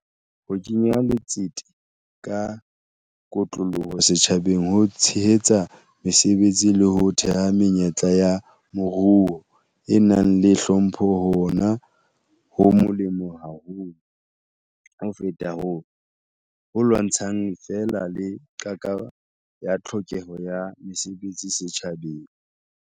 Ho kenya letsete ka kotloloho setjhabeng ho tshehetsa mesebetsi le ho theha menyetla ya moruo e nang le hlompho hona ho molemo haholo ho feta ho lwantshang feela le qaka ya tlhokeho ya mesebetsi setjhabeng.